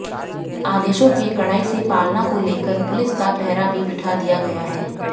आदेशों के कडाई से पालना को लेकर पुलिस का पहरा भी बिठा दिया गया है